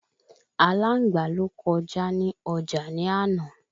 Àláǹgbá ló kọjá ní ọjà ni àná